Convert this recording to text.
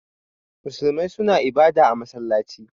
Musulmai suna ibada a masallaci.